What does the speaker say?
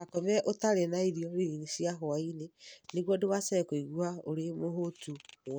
Ndũgakome ũtarĩ na irio nini cia hwaĩ-inĩ nĩguo ndũgacoke kũigua ũrĩ mũhũũtu mũno.